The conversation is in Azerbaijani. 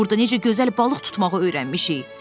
Burda necə gözəl balıq tutmağı öyrənmişik.